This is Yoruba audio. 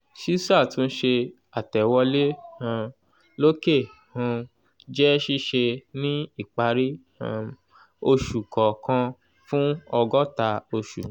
ṣísàtúnṣe àtẹ̀wolé um lòkè um jẹ́ ṣíṣe ní ìparí um oṣù kọ̀ọkan fún ọgọ́ta oṣù